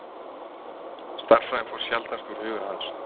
Stærðfræðin fór sjaldnast úr huga hans.